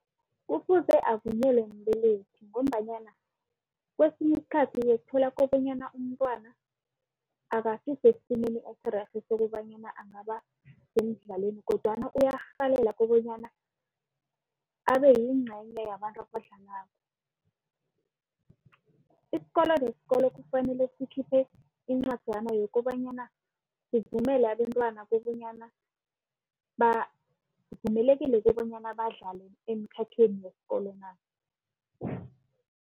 Kufuze avunyelwe mbelethi ngombanyana kwesikhathi uyokuthola kobanyana umntwana akasisesimeni esirerhe sokobanyana angaba semidlalweni kodwana uyarhalela kobanyana abeyingcenye yabantu abadlalako. Isikolo nesikolo kufanele sikhiphe incwajana yokobanyana sivumele abentwana kobanyana bavumelekile kobanyana badlale emkhakheni weskolo na.